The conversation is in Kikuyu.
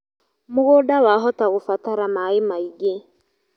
Mũgũnda wahota kũbatara maĩ maingĩ